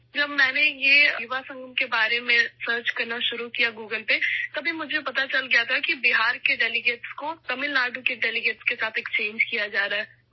جب میں نے اس یووا سنگم کے بارے میں گوگل پر سرچ کرنا شروع کیا، تب ہی مجھے معلوم ہوا کہ بہار کے مندوبین کا تبادلہ تمل ناڈو کے مندوبین سے ہو رہا ہے